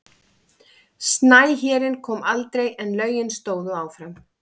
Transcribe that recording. Snæhérinn kom aldrei en lögin stóðu áfram.